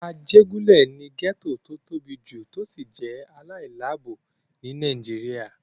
Ajégúnlè ni gẹ́ẹ́tò tó tóbi jù tó sì jẹ́ aláìláàbò ní Nàìjíríyà